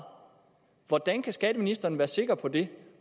hvordan kan skatteministeren være sikker på det